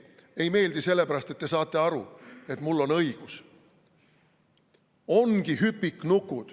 Ei meeldi sellepärast, et te saate aru, et mul on õigus.